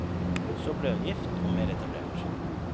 Så ble hun gift og mer etablert.